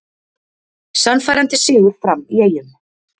Sannfærandi sigur Fram í Eyjum